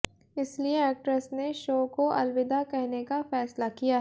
इसलिए एक्ट्रेस ने शो को अलविदा कहने का फैसला किया है